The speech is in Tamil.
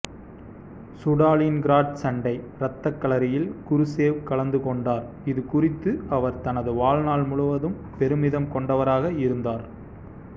சுடாலின்கிராட் சண்டை இரத்தக்களரியில் குருசேவ் கலந்து கொண்டார் இது குறித்து அவர் தனது வாழ்நாள் முழுவதும் பெருமிதம் கொண்டவராக இருந்தார்